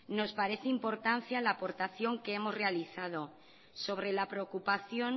nos parece de importancia las aportación que hemos realizado sobre la preocupación